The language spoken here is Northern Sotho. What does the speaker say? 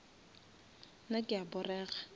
nna ke a porega